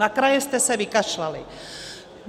Na kraje jste se vykašlali.